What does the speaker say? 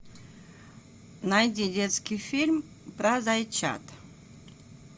найди детский фильм про зайчат